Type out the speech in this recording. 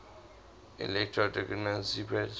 electron degeneracy pressure